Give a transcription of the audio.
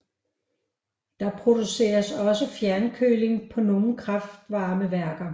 Der produceres også fjernkøling på nogle kraftvarmeværker